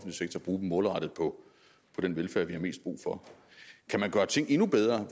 bruge dem målrettet på den velfærd vi har mest brug for kan man gøre ting endnu bedre